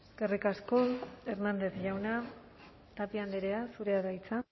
eskerrik asko hernández jauna tapia andrea zurea da hitza